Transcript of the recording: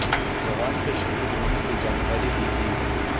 जवान के शहीद होने की जानकारी भी दी है